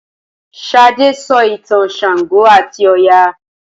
Sade sọ ìtàn ṣàngó ati Oya.